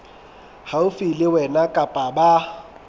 haufi le wena kapa ba